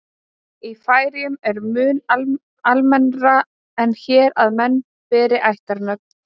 Í Færeyjum er mun almennara en hér að menn beri ættarnöfn.